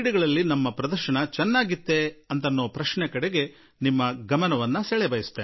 ಆದರೆ ನಮ್ಮ ಸಾಧನೆ ನಿಜವಾಗಿಯೂ ಉತ್ತಮವಾಗಿತ್ತೆ ಎನ್ನುವ ಬಗ್ಗೆ ನಿಮ್ಮ ಗಮನ ಸೆಳೆಯಲು ಬಯಸುವೆ